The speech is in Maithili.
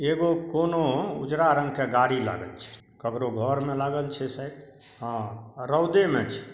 एगो कोनो उजड़ा रंग के गाड़ी लागल छै ककरो घर मे लागल छै शायद हां रउदे मे छै।